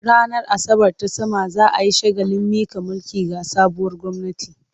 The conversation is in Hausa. Ranar Asabar ta sama za a yi shagalin miƙa mulki ga sabuwar gwamnati.